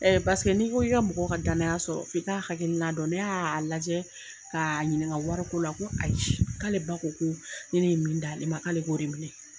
Pasekee n'i ko i ka mɔgɔ ka danya sɔrɔ, f'i ka hakilina dɔn. Ne y'a lajɛ ka ɲininga wari ko la. Ko ayi, k'ale ba ko ko ni ne ye min d'ale ma k'ale k'o minɛ.